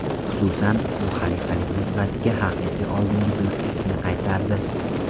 Xususan, u xalifalik rutbasiga haqiqiy oldingi buyuklikni qaytardi.